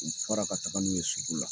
U fara ka taga n'u ye sugu la